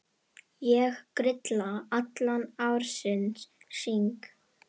Ég grilla allan ársins hring.